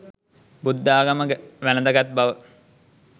බුද්ධාගම වැළඳ ගත් බව